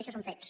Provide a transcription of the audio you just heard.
i això són fets